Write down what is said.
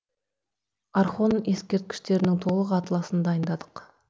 орхон ескерткіштерінің толық атласын дайындадық